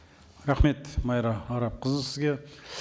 рахмет майра арапқызы сізге